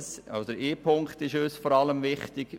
Ein Punkt ist uns vor allem wichtig: